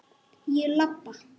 Ég labba.